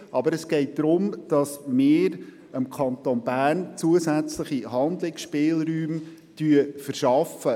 Es geht darum, dass wir dem Kanton Bern einen zusätzlichen Handlungsspielraum verschaffen.